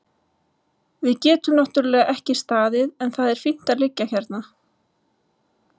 Við getum náttúrlega ekki staðið en það er fínt að liggja hérna.